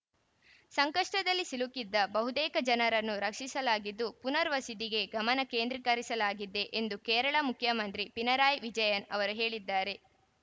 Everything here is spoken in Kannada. ಸಂಕಷ್ಟದಲ್ಲಿ ಸಿಲುಕಿದ ಬಹುತೇಕ ಜನರನ್ನು ರಕ್ಷಿಸಲಾಗಿದ್ದು ಪುನರ್‌ವಸಿದಿಗೆ ಗಮನ ಕೇಂದ್ರೀಕರಿಸಲಾಗಿದೆ ಎಂದು ಕೇರಳ ಮುಖ್ಯಮಂತ್ರಿ ಪಿಣರಾಯಿ ವಿಜಯನ್‌ ಅವರು ಹೇಳಿದ್ದಾರೆ